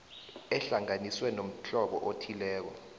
ehlanganiswe nomhlobo othileko